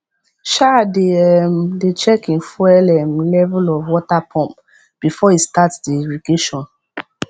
um dey um dey check hin fuel um level of water pump before he start the irrigation